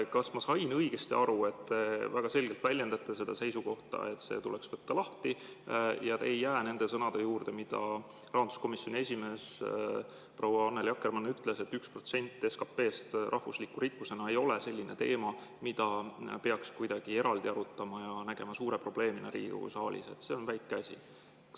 Kas ma sain õigesti aru, et te väga selgelt väljendate seisukohta, et see tuleks võtta lahti, ja te ei jää nende sõnade juurde, mida rahanduskomisjoni esimees proua Annely Akkermann ütles, et 1% SKP‑st rahvusliku rikkusena ei ole selline teema, mida peaks kuidagi eraldi arutama ja nägema suure probleemina Riigikogu saalis, et see on väike asi?